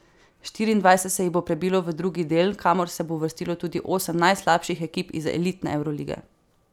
Štiriindvajset se jih bo prebilo v drugi del, kamor se bo uvrstilo tudi osem najslabših ekip iz elitne evrolige.